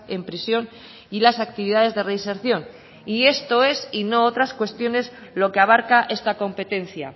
en prisión y las actividades de reinserción y esto es y no otras cuestiones lo que abarca esta competencia